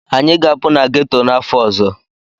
Anyị ga-apụ na ghetto n'afọ ọzọ.